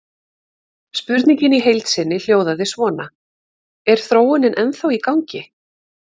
Spurningin í heild sinni hljóðaði svona: Er þróunin ennþá í gangi?